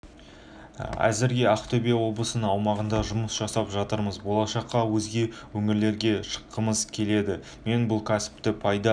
әзірге ақтөбе облысының аумағында жұмыс жасап жатырмыз болашақта өзге өңірлерге шыққымыз келеді мен бұл кәсіпті пайда